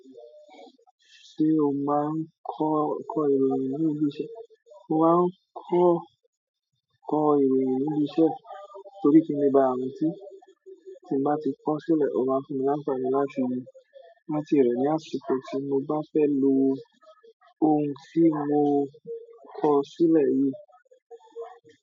Ṣé o máa ń kọ, kọ ìròyìn ní ibi iṣẹ́? Mo máa ń kọ, kọ ìròyìn ní ibi iṣẹ́ torí kín le ba ràntì, tí n bá ti kọ sílẹ̀, o máa fún mi láǹfàni láti i rántí rẹ ní àsìkò tí mo bá fẹ́ lo ohun tí mo kọ sílẹ̀ yìí.